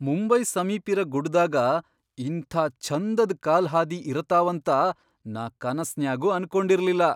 ಮುಂಬೈ ಸಮೀಪಿರ ಗುಡ್ಡ್ದಾಗ ಇಂಥಾ ಛಂದದ್ ಕಾಲ್ಹಾದಿ ಇರತಾವಂತ ನಾ ಕನಸ್ನ್ಯಾಗೂ ಅನ್ಕೊಂಡಿರ್ಲಿಲ್ಲ.